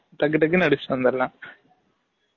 டக்கு டக்குனு அடிசிட்டு வந்துரலாம்